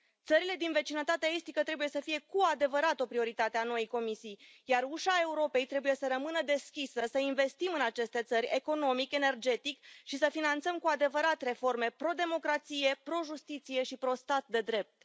Țările din vecinătatea estică trebuie să fie cu adevărat o prioritate a noii Comisii, iar ușa Europei trebuie să rămână deschisă, să investim în aceste țări economic, energetic și să finanțăm cu adevărat reforme pro democrație, pro justiție și pro stat de drept.